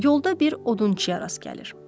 Yolda bir odunçuya rast gəlir.